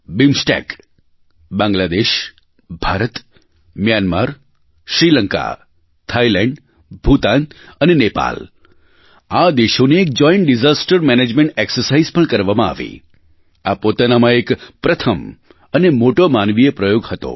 BIMSTEC Bangladesh Bharat Myanmar Sri Lanka Thailand Bhutan અને નેપાલ આ દેશોની એક જોઇન્ટ ડિઝાસ્ટર મેનેજમેન્ટ એક્સરસાઇઝ પણ કરવામાં આવી આ પોતાનામાં એક પ્રથમ અને મોટો માનવીય પ્રયોગ હતો